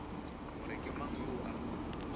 gore ke mang yoo a